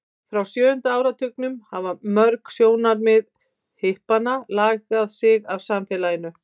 frá sjöunda áratugnum hafa mörg sjónarmið hippanna aðlagað sig að samfélaginu